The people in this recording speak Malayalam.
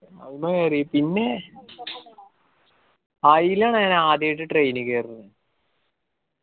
അയിമ കേറി പിന്നേയ് ആയിലാണ് ഞാൻ ആദ്യായിട്ട് train ഈ കേറണത്.